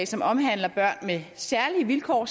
som omhandler børn med særlige vilkår